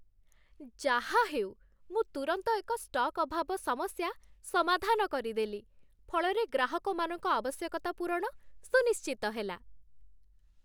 ଯାହାହେଉ, ମୁଁ ତୁରନ୍ତ ଏକ ଷ୍ଟକ୍ ଅଭାବ ସମସ୍ୟା ସମାଧାନ କରିଦେଲି, ଫଳରେ ଗ୍ରାହକମାନଙ୍କ ଆବଶ୍ୟକତା ପୂରଣ ସୁନିଶ୍ଚିତ ହେଲା।